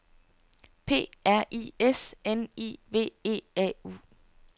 P R I S N I V E A U